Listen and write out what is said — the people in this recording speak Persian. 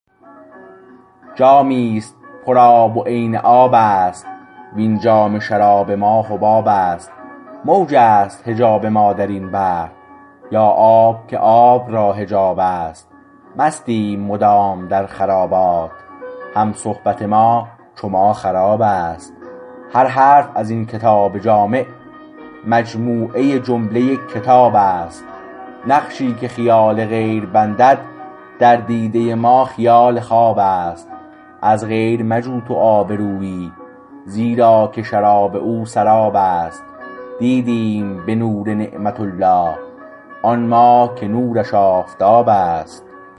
جامیست پر آب و عین آب است وین جام شراب ما حباب است موج است حجاب ما در این بحر یا آب که آب را حجاب است مستیم مدام در خرابات هم صحبت ما چو ما خراب است هر حرف از این کتاب جامع مجموعه جمله کتاب است نقشی که خیال غیر بندد در دیده ما خیال خواب است از غیر مجو تو آبرویی زیرا که شراب او سراب است دیدیم به نور نعمت الله آن ماه که نورش آفتاب است